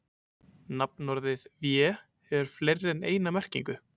Nafnorðið vé hefur fleiri en eina merkingu.